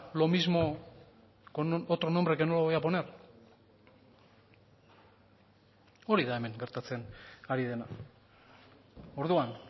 lo mismo con otro nombre que no lo voy a poner hori da hemen gertatzen ari dena orduan